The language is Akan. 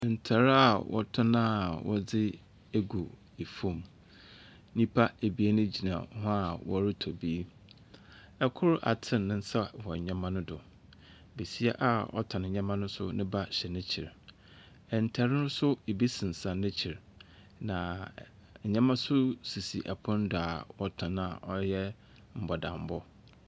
Ntar a wɔtɔn a wɔdi egu efom. Nipa abien gyina hɔ a wɔre tɔ bi. Ɛkor aten nensa wɔ nnɛma no do. Besia a ɔtɔn ndɛma no nso neba hyɛ nekyi. Ntar no, ebi sinsɛn nekyi na nnɛma sisi ɔpon no do a wɔɔtɔn na ɔyɛ bɔdanbɔ.